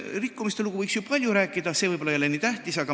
Rikkumistest võiks ju palju rääkida, aga see ei ole võib-olla nii tähtis.